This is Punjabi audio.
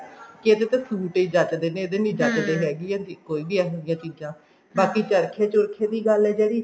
ਕੀ ਇਹਦੇ ਤਾਂ suit ਹੀ ਜਚਦੇ ਨੇ ਇਹਦੇ ਨੀ ਜਚਦੀ ਹੈਗੀਆ ਕੋਈ ਵੀ ਅਹਿਜਿਆ ਚੀਜਾਂ ਬਾਕੀ ਚਰਖੇ ਚੁਰਖੇ ਦੀ ਗੱਲ ਐ ਜਿਹੜੀ